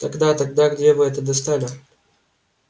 тогда тогда где вы это достали